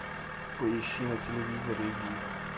поищи на телевизоре зи